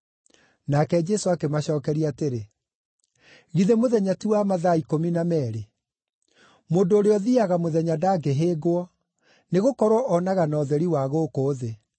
Nake Jesũ akĩmacookeria atĩrĩ, “Githĩ mũthenya ti wa mathaa ikũmi na meerĩ? Mũndũ ũrĩa ũthiiaga mũthenya ndangĩhĩngwo, nĩgũkorwo onaga na ũtheri wa gũkũ thĩ.